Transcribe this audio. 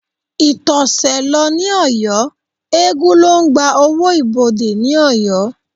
Ìtọ̀sẹ̀ ló ní Ọ̀yọ́, eégún ló ń gba owó ibodè ní Ọ̀yọ́